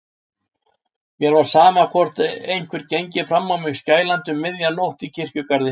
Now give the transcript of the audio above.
Mér var sama, hvort einhver gengi fram á mig skælandi um miðja nótt í kirkjugarði.